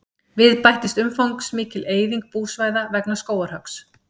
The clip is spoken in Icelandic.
Við bættist umfangsmikil eyðing búsvæða vegna skógarhöggs.